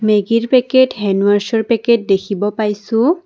মেগীৰ packet হেণ্ডৱাছৰ packet দেখিব পাইছোঁ।